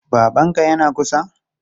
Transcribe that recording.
Babanka yana kusa?